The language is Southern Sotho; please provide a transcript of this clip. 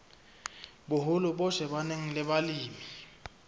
boholo bo shebaneng le balemi